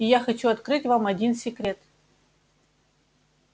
и я хочу открыть вам один секрет